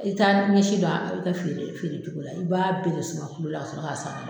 I t'a ɲɛsi dɔn a bɛ kɛ feere feere cogo la i b'a bɛɛ de suma la ka sɔrɔ ka sura